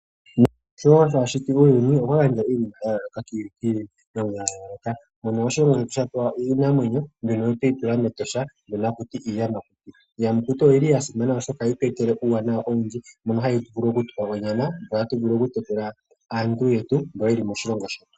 Kalunga sho a shiti uuyuni okwa gandja iinamwenyo ya yooloka, mono oshilongo shetu sha pewa iinamwenyo mbyono tweyi tula mEtosha haku tiwa iiyamakuti. Iiyamakuti oya simana, oshoka ohayi tu etele uuwanawa owindji mono hayi vulu okutu pa onyama, opo tu vule okutekula aantu yetu mboka ye li moshilongo shetu.